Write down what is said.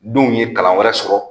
Denw ye kalan wɛrɛ sɔrɔ